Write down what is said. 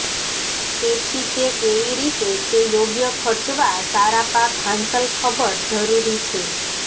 તેથી તે કેવી રીતે તે યોગ્ય ખર્ચવા સારા પાક હાંસલ ખબર જરૂરી છે